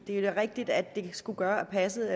det er da rigtigt at det skulle gøre passet